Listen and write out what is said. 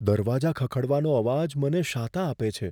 દરવાજા ખખડવાનો અવાજ મને શાતા આપે છે.